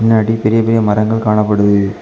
பின்னாடி பெரிய பெரிய மரங்கள் காணப்படுது.